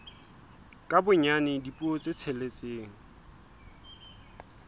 ka bonyane dipuo tse tsheletseng